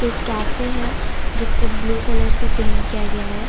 एक कैफे है जिसको ब्लू कलर से पेंट किया गया है।